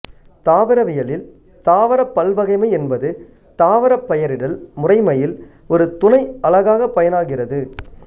தாவரவியலில் தாவரப் பல்வகைமை என்பது தாவரப் பெயரிடல் முறைமையில் ஒரு துணை அலகாகப் பயனாகிறது